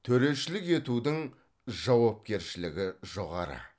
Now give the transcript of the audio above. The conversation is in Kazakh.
төрешілік етудің жауапкершілігі жоғары